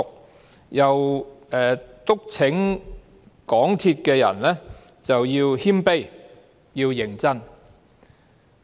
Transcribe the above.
他又促請香港鐵路有限公司的人員要謙卑和認真。